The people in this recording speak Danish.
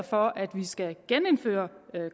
for at vi skal genindføre